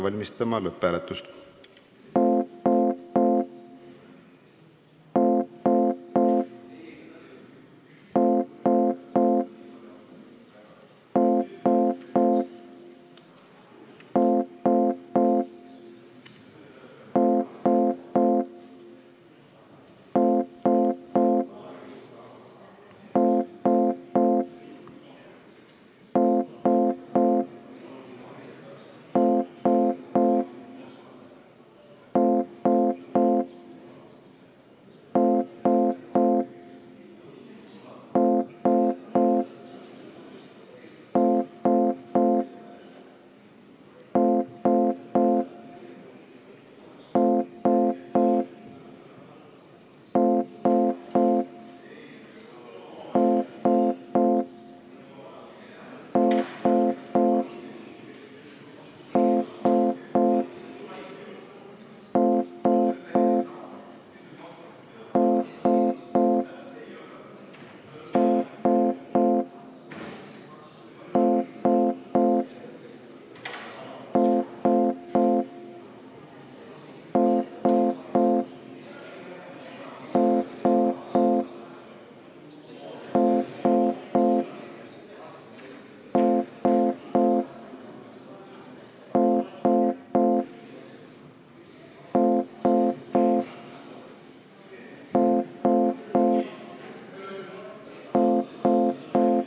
Hakkame lõpphääletust ette valmistama.